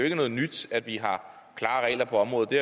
ikke noget nyt at vi har klare regler på området det